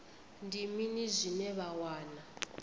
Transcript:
ndi mini zwine vha wana